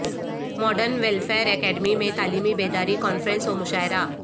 modern welfare academy میں تعلیمی بیداری کانفرنس و مشاعرہ